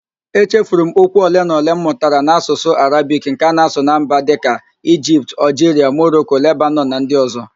Echefuru m okwu ole na ole m mụtara n'Ạsụsụ Arabik nke a na-asụ na mba ndị dịka: Igipt, Ọlgiria, Moroko, Lebanọn na ndi ọzọ